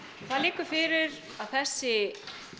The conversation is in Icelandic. það liggur fyrir að þessi